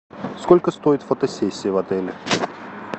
сколько стоит фотосессия в отеле